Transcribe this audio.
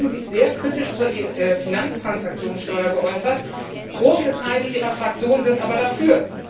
Sie haben sich eben sehr kritisch zur Finanztransaktionssteuer geäußert, große Teile Ihrer Fraktion sind aber dafür.